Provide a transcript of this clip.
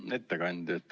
Hea ettekandja!